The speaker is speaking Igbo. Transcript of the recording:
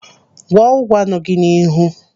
Gwọọ ụgwa nọ gị n'ihu.